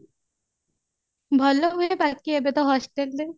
ଭଲ ହୁଏ ବାକି ଏବେ ତ hostelରେ